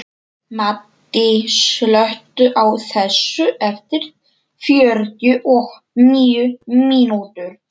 Maddý, slökktu á þessu eftir fjörutíu og níu mínútur.